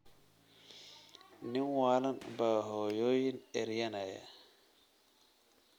Nin waalan baa hooyooyin eryanaya